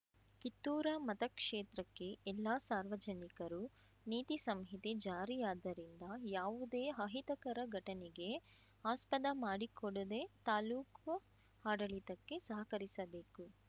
ಕಿತ್ತೂರ ಮತಕ್ಷೇತ್ರಕ್ಕೆ ಎಲ್ಲಾ ಸಾರ್ವಜನಿಕರು ನೀತಿ ಸಂಹಿತೆ ಜಾರಿಯಾದ್ದರಿಂದ ಯಾವುದೇ ಅಹಿತಕರ ಘಟನೆಗೆ ಆಸ್ಪದ ಮಾಡಿ ಕೊಡದೇ ತಾಲೂಕು ಆಡಳಿತಕ್ಕೆ ಸಹಕರಿಸಬೇಕು